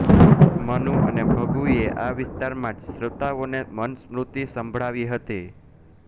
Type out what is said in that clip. મનુ અને ભૃગુએ આ વિસ્તારમાં જ શ્રોતાઓને મનુસ્મૃત્તિ સંભળાવી હતી